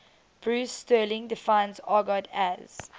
bruce sterling defines argot as